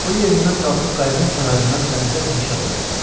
O yerindən qalxıb qayıdığın kənarından dənizə peşab elədi.